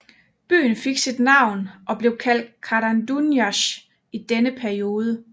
Byen fik nyt navn og blev kaldt Karanduniasj i denne periode